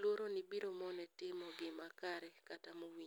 luoroni biro mone timo gima kare kata mowinjore.